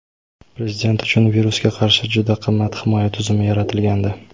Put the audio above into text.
Prezident uchun virusga qarshi juda qimmat himoya tizimi yaratilgandi.